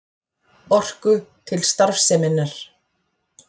Orku til starfseminnar.